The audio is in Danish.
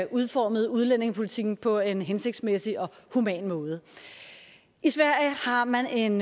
udformer udlændingepolitikken på en hensigtsmæssig og human måde i sverige har man en